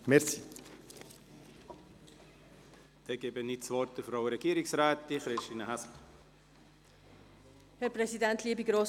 Ich gebe das Wort Frau Regierungsrätin Christine Häsler.